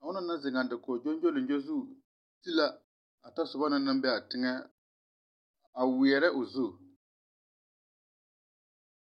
a onɔŋ naŋ zeŋaa dakog gyongyoliŋgyo zu te la o tasobɔ na naŋ bee aa teŋɛ a weɛɛrɛ o zu.